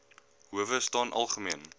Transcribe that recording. howe staan algemeen